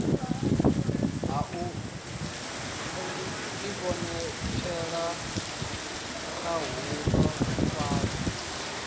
ha u ivhonetshela khahulo kwayo